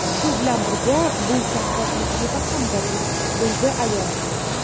Shu bilan birga bu katta tajriba hamdir”, deydi ayol.